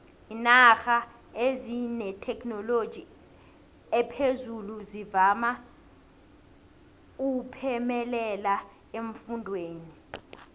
iinarha ezinethekhinoloji ephezulu zivama uphemelela eemfundeni